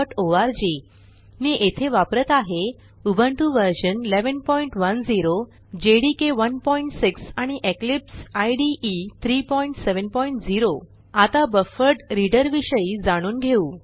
spoken tutorialओआरजी मी येथे वापरत आहे उबुंटू व्ह 1110 जेडीके 16 आणि इक्लिप्स इदे 370 आता बफरड्रीडर विषयी जाणून घेऊ